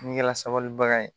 N'i kɛ la sabalibaga ye